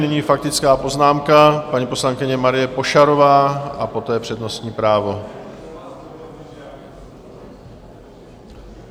Nyní faktická poznámka - paní poslankyně Marie Pošarová, a poté přednostní právo.